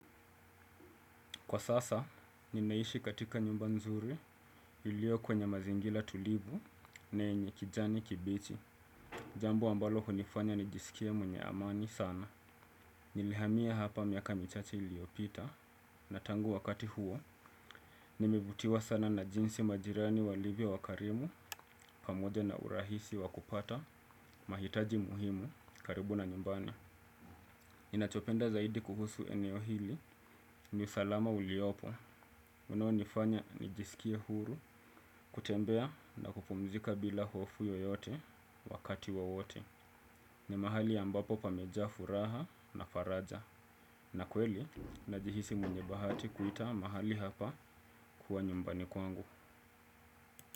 Kwa sasa, ninaishi katika nyumba nzuri ilio kwenye mazingira tulivu na yenye kijani kibichi. Jambo ambalo hunifanya nijisikia mwenye amani sana. Nimehamia hapa miaka michache iliopita. Na tangu wakati huo, nimivutiwa sana na jinsi majirani wa livyo wakarimu pamoja na urahisi wakupata. Mahitaji muhimu karibu na nyumbani. Nachopenda zaidi kuhusu eneo hili ni usalama uliopo. Unao nifanya nijisikia huru, kutembea na kupumzika bila hofu yoyote wakati wowote. Ni mahali ambapo pameja furaha na faraja. Na kweli, najihisi mwenye bahati kuita mahali hapa kuwa nyumbani kwangu.